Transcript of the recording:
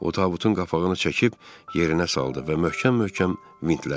O tabutun qapağını çəkib yerinə saldı və möhkəm-möhkəm vintlədi.